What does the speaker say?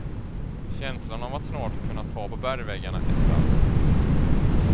Känslan av att snart kunna ta på bergväggarna är stark.